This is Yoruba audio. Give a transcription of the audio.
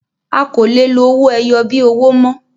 A kọ lè lo owó ẹyọ bí owó mọ